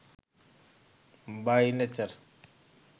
by nature